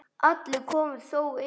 Allir komust þó inn.